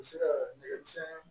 U bɛ se ka dɛmɛ